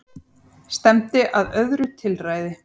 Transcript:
Stefndi að öðru tilræði